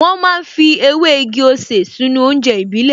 Wọ́n ma ń fi ewé igi-osè sínú oúnjẹ ìbílẹ̀